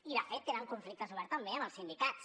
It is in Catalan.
i de fet tenen conflictes oberts també amb els sindicats